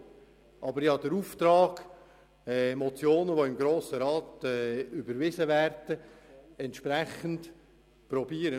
Ich habe jedoch den Auftrag, Motionen, welche im Grossen Rat überwiesen werden, entsprechend umzusetzen.